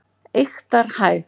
Eyktarhæð